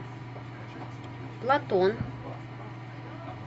платон